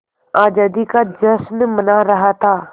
आज़ादी का जश्न मना रहा था